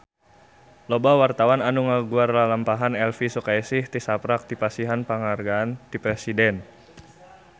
Loba wartawan anu ngaguar lalampahan Elvi Sukaesih tisaprak dipasihan panghargaan ti Presiden